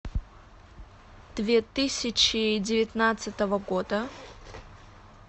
две тысячи девятнадцатого года